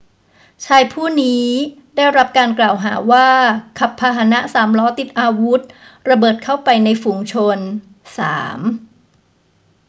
ชายผู้นี้ได้รับการกล่าวหาว่าขับพาหนะสามล้อติดอาวุธระเบิดเข้าไปในฝูงชน 3